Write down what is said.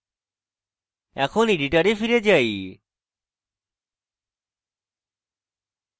এখন editor ফিরে যাই